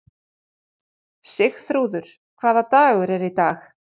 Sigþrúður, hvaða dagur er í dag?